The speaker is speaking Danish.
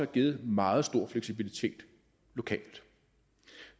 givet meget stor fleksibilitet lokalt